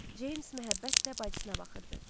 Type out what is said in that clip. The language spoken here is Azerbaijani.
Cems məhəbbətlə bacısına baxırdı.